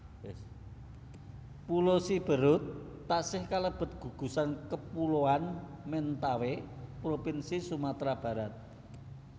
Pulo Siberut taksih kalebet gugusan kapuloan Mentawai propinsi Sumatra Barat